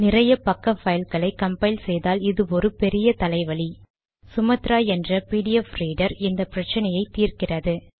நிறைய பக்க பைல் களை கம்பைல் செய்தால் இது ஒரு பெரிய தலைவலி சுமாத்ரா என்ற பிடிஎஃப் ரீடர் இந்த பிரச்சனயை தீர்க்கிறது